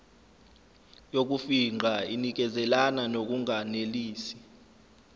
yokufingqa inikezelana ngokunganelisi